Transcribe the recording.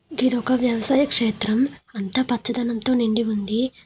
ఇది ఒక వ్యవసాయ క్షేత్రం అంత పచ్చదనంతో నిండి ఉంది.